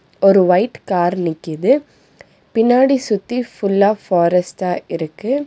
ஒரு white car நிக்கிது பின்னாடி சுத்தி ஃபுல்லா ஃபாரஸ்ட்டா இருக்கு.